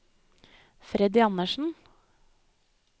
Freddy Andersen